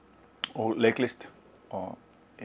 og leiklist og